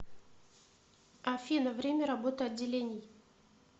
афина время работы отделений